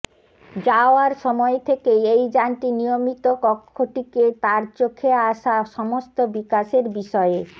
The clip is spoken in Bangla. যাওয়ার সময় থেকেই এই যানটি নিয়মিত কক্ষটিকে তার চোখে আসা সমস্ত বিকাশের বিষয়ে